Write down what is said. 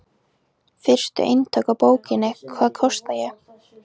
Fyrstu eintökin af bókinni Hvað kosta ég?